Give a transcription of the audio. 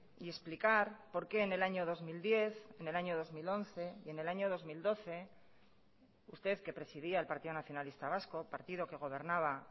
y explicar por qué en el año dos mil diez en el año dos mil once y en el año dos mil doce usted que presidía el partido nacionalista vasco partido que gobernaba